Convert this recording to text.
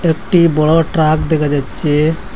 একটি বড়ো ট্রাক দেখা যাচ্চে ।